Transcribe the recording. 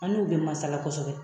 An n'u bɛ masala kosɛbɛ